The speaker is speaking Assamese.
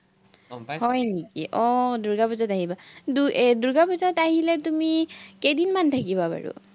আহ দূৰ্গাপুজাত আহিবা, এৰ দূৰ্গাপুজাত আহিলে তুমি, কেইদিনমান থাকিবা বাৰু?